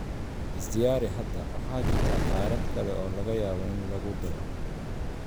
Is diyaari hadda, waxa jirta qaarad kale oo laga yaabo in lagu daro.